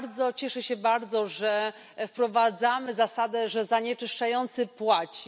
Cieszę się bardzo, że wprowadzamy zasadę zanieczyszczający płaci.